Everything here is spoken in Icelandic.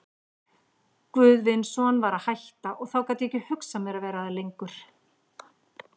Guðvinsson var að hætta, og þá gat ég ekki hugsað mér að vera þar lengur.